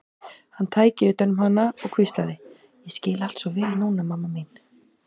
Hann tæki utan um hana og hvíslaði: Ég skil allt svo vel núna, mamma mín.